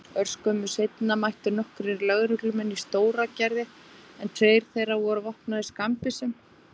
Örskömmu seinna mættu nokkrir lögreglumenn í Stóragerði en tveir þeirra voru vopnaðir skammbyssum.